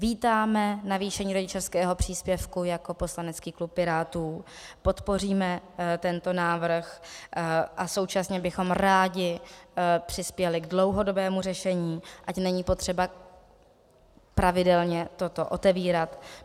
Vítáme navýšení rodičovského příspěvku jako poslanecký klub Pirátů, podpoříme tento návrh a současně bychom rádi přispěli k dlouhodobému řešení, ať není potřeba pravidelně toto otevírat.